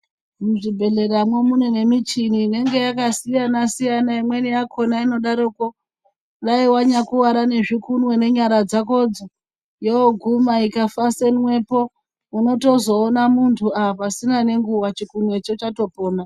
Muzvibhedhleramwo mune nemichini ingenge yakasiyana-siyana. Imweni yakona inodaroko dai vanyakuvara nezvikunwe nenyara dzakodzo. Yoguma ikafasenwepo inotozoona mutu aa pasina nenguva chikunwecho chatopona.